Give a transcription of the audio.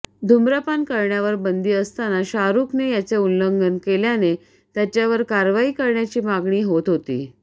धुम्रपान करण्यावर बंदी असताना शाहरूखने याचे उल्लंघन केल्याने त्याच्यावर कारवाई करण्याची मागणी होत होती